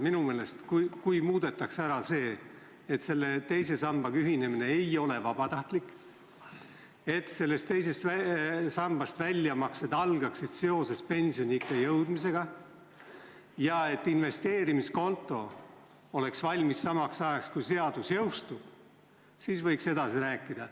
Minu meelest, kui muudetaks ära see, et teise sambaga ühinemine ei ole vabatahtlik, et sellest teisest sambast väljamaksed algaksid seoses pensioniikka jõudmisega ja et investeerimiskonto oleks valmis samaks ajaks, kui seadus jõustub, siis võiks edasi rääkida.